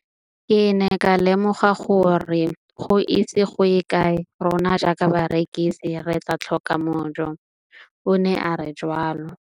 Ke ne ka lemoga gore go ise go ye kae rona jaaka barekise re tla tlhoka mojo, o ne a re jalo.